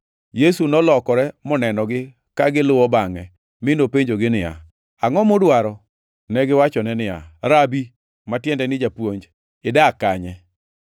Yesu nolokore monenogi ka giluwo bangʼe, mi nopenjogi niya, “Angʼo mudwaro?” Negiwachone niya, “Rabi” (ma tiende ni “Japuonj”), “idak kanye?”